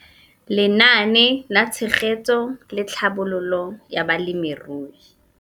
Lenaane la Tshegetso le Tlhabololo ya Balemirui